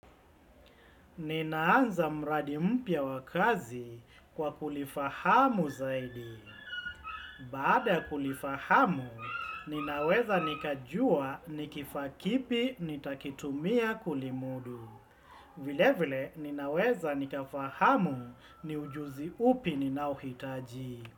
Ninaanza mradi mpya wa kazi kwa kulifahamu zaidi. Baada kulifahamu, ninaweza nikajua nikifaa kipi nitakitumia kulimudu. Vile vile, ninaweza nikafahamu ni ujuzi upi ninaohitaji.